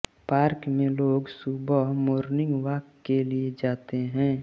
park में लोग सुबहे मोर्निंग वाक के लिए जाते हें